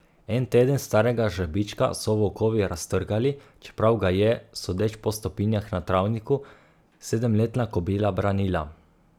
En teden starega žrebička so volkovi raztrgali, čeprav ga je, sodeč po stopinjah na travniku, sedemletna kobila branila.